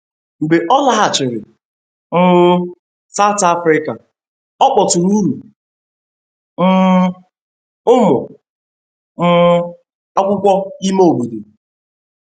Mgbe ọ lọghachiri um South Afrika, ọ kpọtụụrụ um ụmụ um akwụkwo ime obodo.